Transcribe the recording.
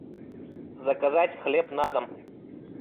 заказать хлеб на дом